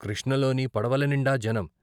కృష్ణలోని పడవల నిండా జనం.